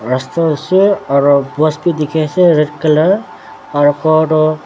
rasta osor aro post bi dikhiase red colour aro khor toh--